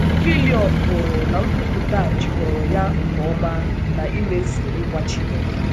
Fillion hụrụ na nkwupụta a jikọrọ ya nke ọma na imezu nkwa Chineke.